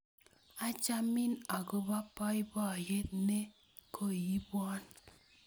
Achamin akopo poipoiyet ne koiipwon.